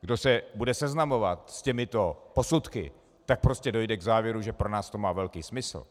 kdo se bude seznamovat s těmito posudky, tak prostě dojde k závěru, že pro nás to má velký smysl.